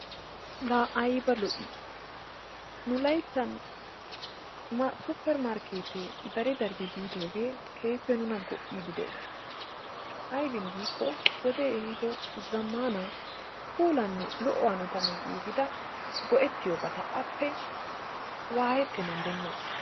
Laa ayba lo"i! Nu layttan supper markkeettee dari daridi biidoogee keehippe nuna go''iidi de'ees aybiin giikko wodee ehiiddo zammana puulanne lo"o hanotan giigida go'ettiyobata appe waayettennan demoos.